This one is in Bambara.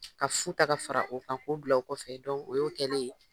Ka fu ta ka fara o kan k'o bila kɔfɛ o y'o kɛlen ye